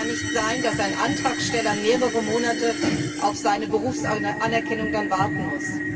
Es kann nicht sein, dass ein Antragsteller dann mehrere Monate auf seine Berufsanerkennung warten muss.